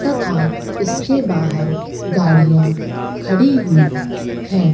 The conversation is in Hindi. तथा इसके बाहर गाड़ियां खड़ी हुई हैं।